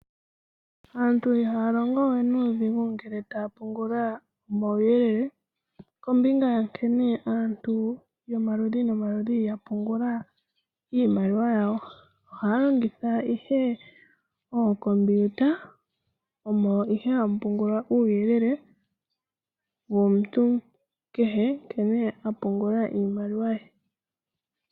Aantu iha yalongo we nuudhigu ngele ta yapungula omauyelele, kombinga nkene aantu yomaludhi nomaludhi yapungula iimaliwa yawo. Ohayalongitha ihe ookomputa, moka omo haya pungula uuyelele womuntu kehe apungula iimaliwa ye.